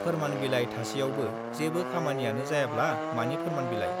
फोरमान बिलाइ थासेयावबो जेबो खामानियानो जायाब्ला मानि फोरमान बिलाइ ?